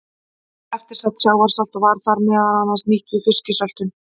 Eftir sat sjávarsalt og var það meðal annars nýtt við fisksöltun.